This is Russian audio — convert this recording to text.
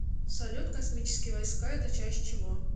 салют космические войска это часть чего